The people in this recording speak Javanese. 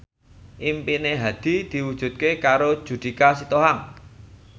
impine Hadi diwujudke karo Judika Sitohang